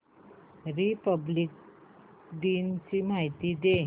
Republic दिन ची माहिती दे